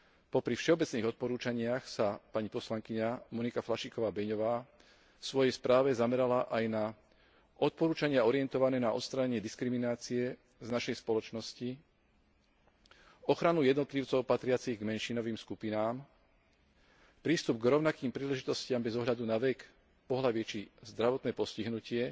Popri všeobecných odporúčaniach sa pani poslankyňa Monika Flašíková Beňová vo svojej správe zamerala aj na odporúčania orientované na odstránenie diskriminácie z našej spoločnosti, ochranu jednotlivcov patriacich k menšinovým skupinám, prístup k rovnakým príležitostiam bez ohľadu na vek, pohlavie či zdravotné postihnutie,